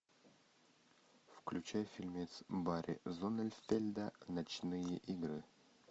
включай фильмец барри зонненфельда ночные игры